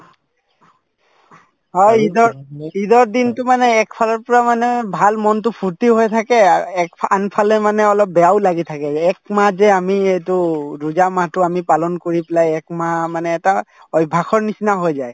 হয় ঈদৰ ঈদৰ দিনতো মানে একফালৰ পৰা মানে ভাল মনতো ফূৰ্তি হৈ থাকে আৰ একফা আনফালে মানে অলপ বেয়াও লাগি থাকে যে একমাহ যে আমি এইটো ৰোজা মাহতো আমি পালন কৰি পেলাই একমাহ মানে এটা অভ্যাসৰ নিচিনা হৈ যায়